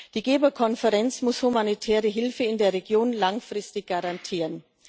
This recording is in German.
Die Geberkonferenz muss humanitäre Hilfe in der Region langfristig garantieren.